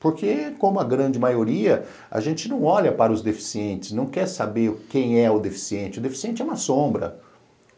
Porque como a grande maioria, a gente não olha para os deficientes, não quer saber quem é o deficiente, o deficiente é uma sombra.